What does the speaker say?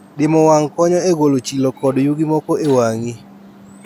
Diemo wang' konyo e golo chilo kod yugi moko e wang'i.